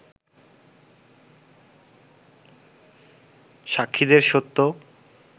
সাক্ষীদের সত্য